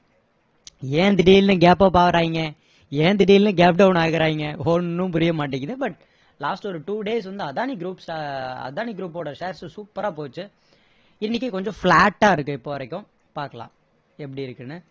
ஏன் திடீர்னு gap up ஆகுறாங்க ஏன் திடீர்னு gap down ஆகுறாங்க ஒன்னும் புரியமாட்டேங்குது but last ஒரு two days வந்து அதானி groups அ அதானி groups ஓட shares உ சூப்பரா போச்சு இன்னைக்கு கொஞ்சம் flat ஆ இருக்கு இப்போ வரைக்கும் பார்க்கலாம் எப்படி இருக்குன்னு